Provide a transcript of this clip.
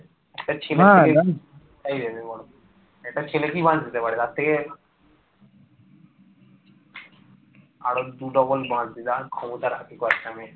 আরো দু ডবল বাঁশ দেওয়ার ক্ষমতা রাখি। বাচ্চা মেয়ে